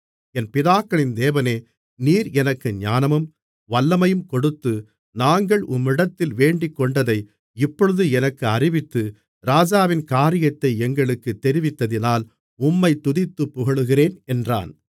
என் பிதாக்களின் தேவனே நீர் எனக்கு ஞானமும் வல்லமையும் கொடுத்து நாங்கள் உம்மிடத்தில் வேண்டிக்கொண்டதை இப்பொழுது எனக்கு அறிவித்து ராஜாவின் காரியத்தை எங்களுக்குத் தெரிவித்ததினால் உம்மைத் துதித்துப் புகழுகிறேன் என்றான்